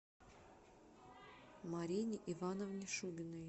марине ивановне шубиной